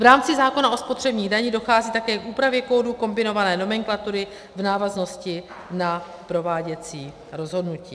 V rámci zákona o spotřební dani dochází také k úpravě kódu kombinované nomenklatury v návaznosti na prováděcí rozhodnutí.